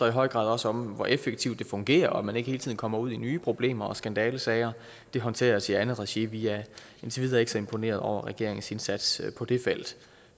i høj grad også om hvor effektivt det fungerer og at man ikke hele tiden kommer ud i nye problemer og skandalesager det håndteres i andet regi vi er indtil videre ikke så imponerede over regeringens indsats på det felt